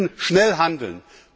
Wir müssen schnell handeln!